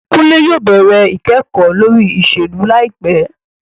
Kunle yóò bẹrẹ ikẹkọ lori iṣelu laipẹ